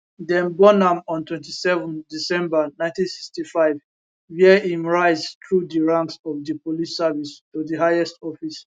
dem born am on 27 december 1965 wia im rise thru di ranks of di police service to di highest office